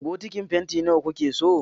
Bokitin fanti na wa kuke so?